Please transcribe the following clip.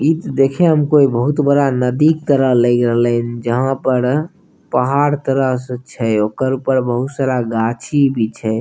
इ त देखइ हम को कोई बहुत बड़ा नदी तरह लग रहलिए जहाँ पर अ पहाड़ तरह से छए ओकर ऊपर बहुत सारा गाची भी छए।